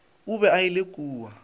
o be a ile kua